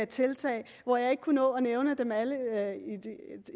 tiltag og jeg kunne ikke nå at nævne dem alle